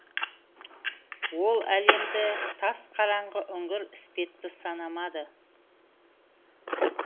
ол әлемді тас қараңғы үңгір іспетті санамады